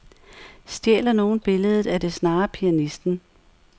Stjæler nogen billedet, er det snarere pianisten.